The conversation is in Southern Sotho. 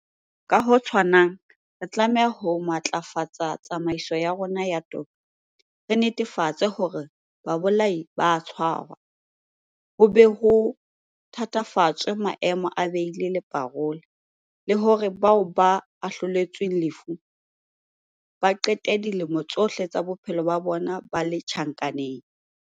Ka ho tshwanang, re tlameha ho matlafatsa tsamaiso ya rona ya toka, re netefatse hore babolai ba a tshwarwa, ho be ho thatafatswe maemo a beili le parola, le hore bao ba ahloletsweng lefu ba qete dilemo tsohle tsa bophelo ba bona ba le tjhankaneng.